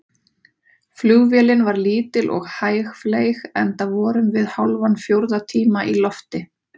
Flugvélin var lítil og hægfleyg, enda vorum við hálfan fjórða tíma í lofti.